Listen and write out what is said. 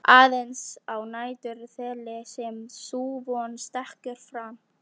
Aðeins á næturþeli sem sú von stekkur fram.